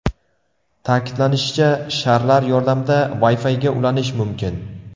Ta’kidlanishicha, sharlar yordamida Wi-Fi’ga ulanish mumkin.